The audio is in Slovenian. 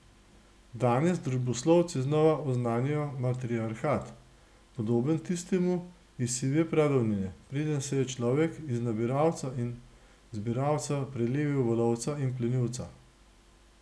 Danes družboslovci znova oznanjajo matriarhat, podoben tistemu iz sive pradavnine, preden se je človek iz nabiralca in zbiralca prelevil v lovca in plenilca.